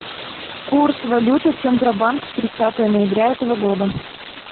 курс валюты центробанк тридцатое ноября этого года